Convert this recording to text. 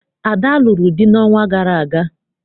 Ada lụrụ di n'ọnwa gara aga.